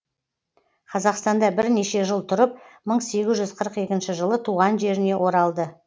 қазақстанда бірнеше жыл тұрып мың сегіз жүз қырық екінші жылы туған жеріне оралды